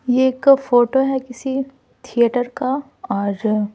ये एक फोटो है किसी थिएटर का और--